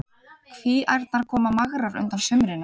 Kvíaærnar komu magrar undan sumrinu.